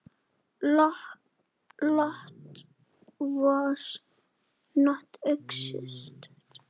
Lot var einmitt slíkur maður.